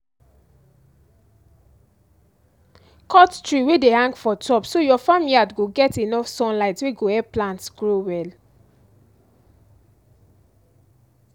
cut tree wey dey hang for top so your farm yard go get enough sunlight wey go help plants grow well